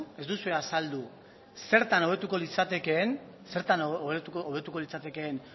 zertan hobetuko litzatekeen